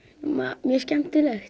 mjög skemmtilegt